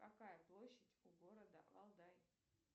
какая площадь у города валдай